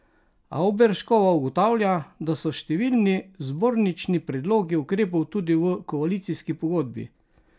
Avberškova ugotavlja, da so številni zbornični predlogi ukrepov tudi v koalicijski pogodbi.